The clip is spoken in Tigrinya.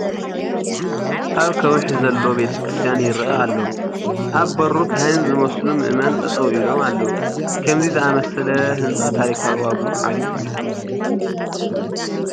ኣብ ከውሒ ዘሎ ቤተ ክርስቲያን ይርአ ኣሎ፡፡ ኣብ በሩ ካህን ዝመስሉ ምእመን ጠጠው ኢሎም ኣለዉ፡፡ ከምዚ ዝኣምሰለ ህንፃ ታሪካዊ ዋግኡ ዓብዪ እዩ፡፡